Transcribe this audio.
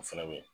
O fɛnɛ be yen